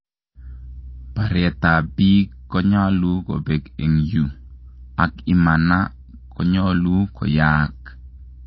Paretap pik konyalu kopek en uu ak imana konyalu koyaaak